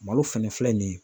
Malo fɛnɛ filɛ nin ye